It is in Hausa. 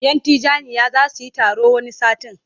Yan Tijjaniyya za su yi taro wani satin.